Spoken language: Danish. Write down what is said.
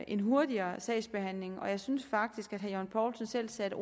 en hurtigere sagsbehandling og jeg synes faktisk at herre jørgen poulsen selv satte